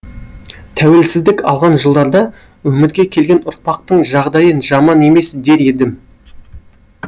тәуелсіздік алған жылдарда өмірге келген ұрпақтың жағдайы жаман емес дер едім